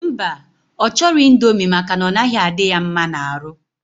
Mba, ochoro indomie maka na onaghi adi ya mma na aru.